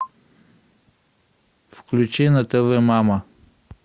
включи на тв мама